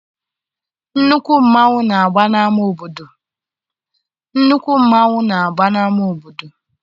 Nnukwu mmanwụ na-agba n'ama obodo